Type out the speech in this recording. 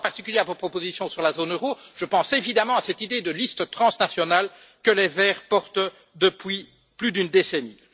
Je pense en particulier à vos propositions sur la zone euro, je pense évidemment à cette idée de listes transnationales que les Verts portent depuis plus d'une décennie.